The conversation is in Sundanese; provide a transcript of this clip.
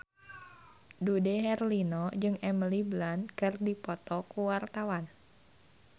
Dude Herlino jeung Emily Blunt keur dipoto ku wartawan